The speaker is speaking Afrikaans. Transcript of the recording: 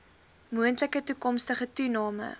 moontlike toekomstige toename